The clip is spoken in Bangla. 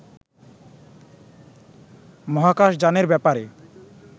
মহাকাশ যানের ব্যাপারে